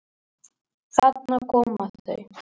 Þarna koma þau!